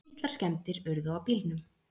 Litlar skemmdir urðu á bílnum